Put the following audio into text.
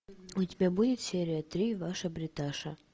у тебя будет серия три ваша бриташа